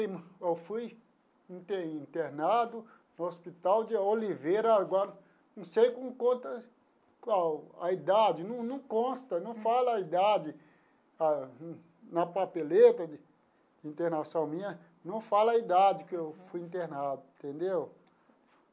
Eu fui inter internado no Hospital de Oliveira, agora não sei com quantas, qual a idade, num num consta, não fala a idade na papeleta de de internação minha, não fala a idade que eu fui internado, entendeu?